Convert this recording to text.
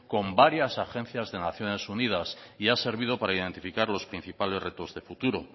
con varias agencias de naciones unidas y ha servido para identificar los principales retos de futuro